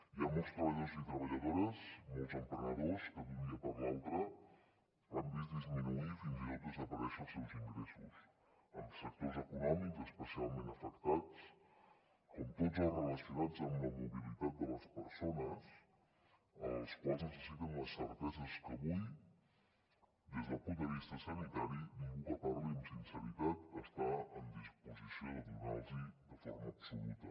hi ha molts treballadors i treballadores molts emprenedors que d’un dia per l’altre han vist disminuir fins i tot desaparèixer els seus ingressos en sectors econòmics especialment afectats com tots els relacionats amb la mobilitat de les persones els quals necessiten unes certeses que avui des del punt de vista sanitari ningú que parli amb sinceritat està en disposició de donar los la de forma absoluta